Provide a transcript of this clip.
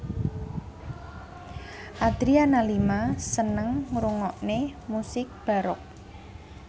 Adriana Lima seneng ngrungokne musik baroque